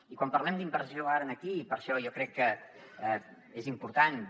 i quan parlem d’inversió ara aquí i per això jo crec que és important